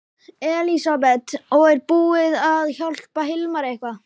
Elísabet: Og er búið að hjálpa Hilmari eitthvað?